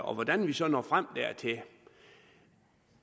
og hvordan vi så når frem dertil